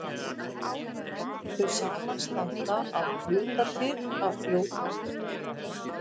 Þau samanstanda að hluta til af fljótandi vatni og stundum hafa þau frosna ytri skel.